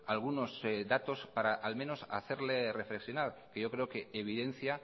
algunos datos para al menos hacerle reflexionar que yo creo que evidencia